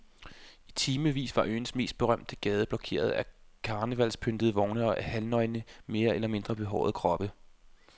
I timevis var øens mest berømte gade blokeret af karnevalspyntede vogne og halvnøgne mere eller mindre behårede kroppe.